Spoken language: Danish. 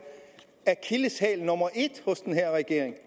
akilleshæl nummer et hos den her regering